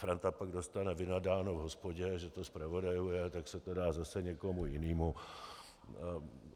Franta pak dostane vynadáno v hospodě, že to zpravodajuje, tak se to dá zase někomu jinému.